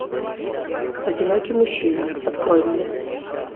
одинокий мужчина открой мне